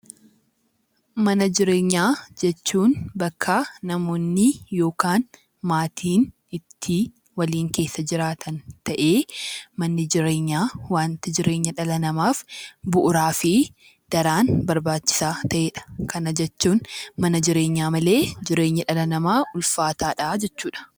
Mana jireenyaa jechuun bakka namoonni yookaan maatiin ittiin waliin keessa jiraatan ta'ee, manni jireenyaa waanti jireenya dhala namaaf bu'uuraa fi daran barbaachisaa ta'edha. Kana jechuun mana jireenyaa malee jireenya dhala namaa ulfaataadha jechuudha.